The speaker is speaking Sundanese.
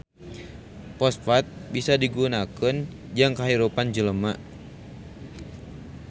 Fosfat bisa digunakeun jang kahirupan jelema